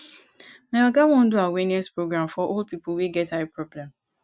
my oga wan do awareness program for old people wey get eye problem